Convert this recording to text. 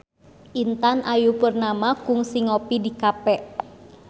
Intan Ayu Purnama kungsi ngopi di cafe